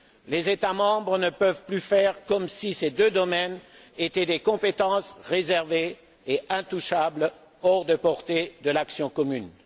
Les États membres ne peuvent plus faire comme si ces deux domaines étaient des compétences réservées et intouchables, hors de portée de l'action commune.